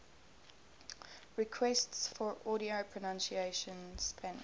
requests for audio pronunciation spanish